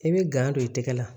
I bɛ gan don i tɛgɛ la